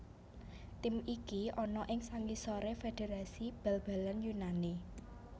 Tim iki ana ing sangisoré Federasi Bal balan Yunani